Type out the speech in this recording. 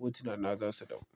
hotunana za su dawo.